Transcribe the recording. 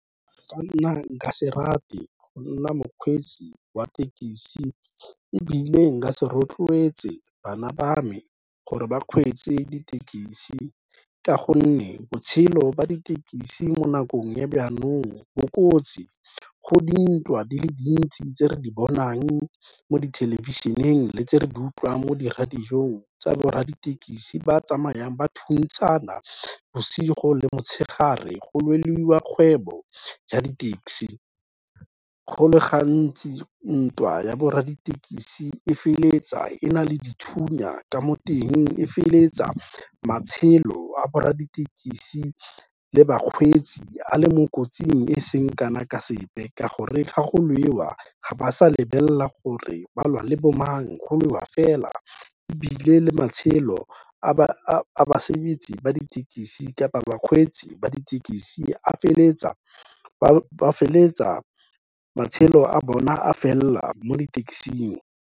Go nna, nka se rate go nna mokgweetsi wa thekisi, ebile nka se rotloetse bana ba me gore ba kgweetse ditekisi ka gonne, botshelo ba ditekisi mo nakong ya bo kotsi, go dintwa di le dintsi tse re di bonang mo dithelebišeneng le tse re di utlwang mo di-radio-ng tsa borra ditekisi ba tsamayang ba thuntshana bosigo le motshegare, go lweliwa kgwebo ya di-taxi. Go le gantsi ntwa ya borra ditekisi e feleletsa e na le dithunya ka mo teng, e feleletsa matshelo a borra ditekisi le bakgweetsi a le mo kotsing e seng kana ka sepe, ka gore ga go lwewa ga ba sa lebelela gore balwa le bo mang, go lwewa fela ebile le matshelo a ba ditekisi kapa bakgweetsi ba ditekisi ba feleletsa matshelo a bona a felela mo ditekising.